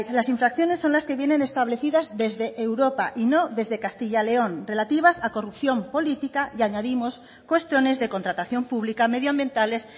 las infracciones son las que vienen establecidas desde europa y no desde castilla león relativas a corrupción política y añadimos cuestiones de contratación pública medioambientales